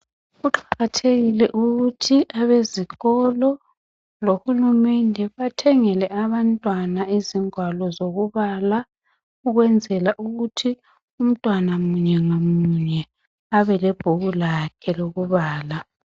Kuqakathekile ukuthi abezikolo lohulumende bathengele abantwana izingwalo zokubala ukwenzela ukuthi umntwana munye ngamunye abe lebhuku lakhe lokubala.